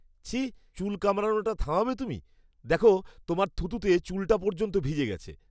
ছিঃ! চুল কামড়ানোটা থামাবে তুমি। দেখো, তোমার থুতুতে চুলটা পর্যন্ত ভিজে গেছে।